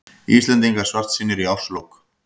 Íslendingar svartsýnir í árslok